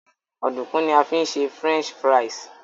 Ọ̀dùnkún ni a fi ń ṣe French fries